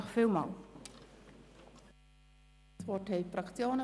Das Wort haben die Fraktionen.